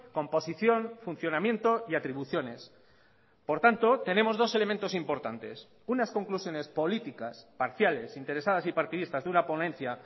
composición funcionamiento y atribuciones por tanto tenemos dos elementos importantes unas conclusiones políticas parciales interesadas y partidistas de una ponencia